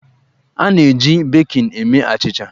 A na-eji bekin eme achịcha.